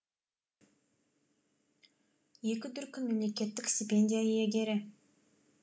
екі дүркін мемлекеттік стипендия иегері